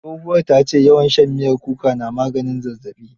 Tsohuwar ta ce, yawan shan miyar kuka na maganin zazzaɓi.